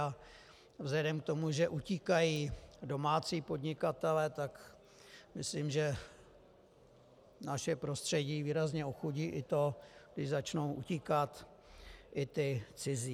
A vzhledem k tomu, že utíkají domácí podnikatelé, tak myslím, že naše prostředí výrazně ochudí i to, když začnou utíkat i ti cizí.